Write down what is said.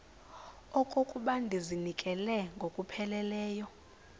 okokuba ndizinikele ngokupheleleyo